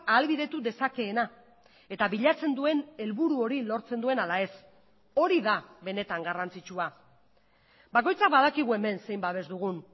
ahalbidetu dezakeena eta bilatzen duen helburu hori lortzen duen ala ez hori da benetan garrantzitsua bakoitzak badakigu hemen zein babes dugun